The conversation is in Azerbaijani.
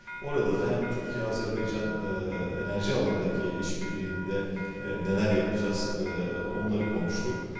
Orada da həm Türkiyə-Azərbaycan eee enerji sahəsindəki əməkdaşlıqda eee nələr edəcəyik eee onları danışdıq.